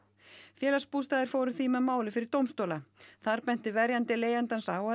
félagsbústaðir fóru því með málið fyrir dómstóla þar benti verjandi leigjandans á að